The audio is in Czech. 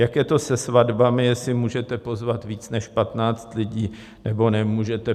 Jak je to se svatbami, jestli můžete pozvat víc než 15 lidí, nebo nemůžete.